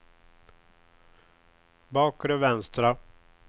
bakre vänstra